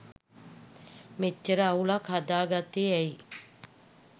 මෙච්චර අවුලක් හදාගත්තෙ ඇයි.